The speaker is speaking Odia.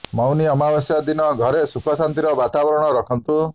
ମୌନୀ ଅମାବାସ୍ୟା ଦିନ ଘରେ ସୁଖ ଶାନ୍ତିର ବତାବରଣ ରଖନ୍ତୁ